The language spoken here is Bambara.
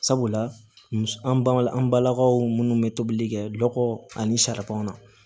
Sabula an bala an balakaw minnu bɛ tobili kɛ lɔgɔ ani sariyaw na